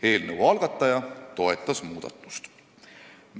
Eelnõu algataja toetas muudatust.